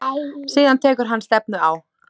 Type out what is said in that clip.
Síðan tekur hann stefnu á